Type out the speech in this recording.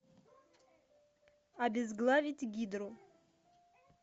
обезглавить гидру